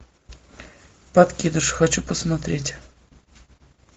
подкидыш хочу посмотреть